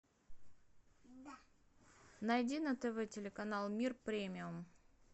найди на тв телеканал мир премиум